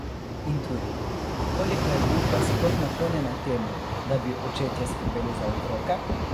In tudi, koliko je družba sploh naklonjena temu, da bi očetje skrbeli za otroke?